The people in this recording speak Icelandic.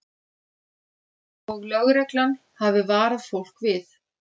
Og lögreglan hafi varað fólk við